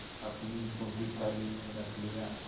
अपनी जूठी थाली में रख लिया